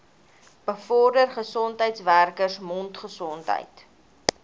bevorder gesondheidswerkers mondgesondheid